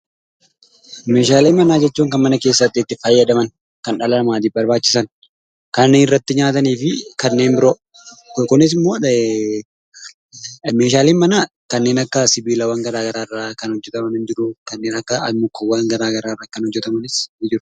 Meeshaalee manaa jechuun kan mana keessatti itti fayyadaman, kan dhala namaatiif barbaachisan, kan irratti nyaatanii fi kanneen biroo. Kunis immoo meeshaaleen manaa kanneen akka sibiilawwan garaagaraarra kan hojjetaman jiruu annukkuuwwan garaagaraa irraa hojjetatamanis ni jiru.